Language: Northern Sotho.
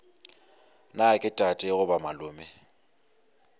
na ke tate goba malome